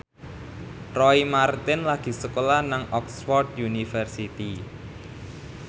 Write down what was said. Roy Marten lagi sekolah nang Oxford university